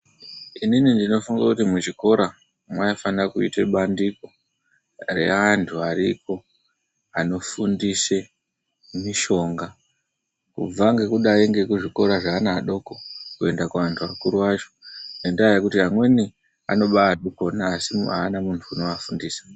Inini ndinofunga kuti muchikora mwaifane kuita bandiko reantu ariko anofundise mishonga. Kubva ngekudai kuzvikora zveana adoko kuenda kuantu akuru acho, ngendaa yekuti amweni anobaazvikona asi haana muntu anowafundisa.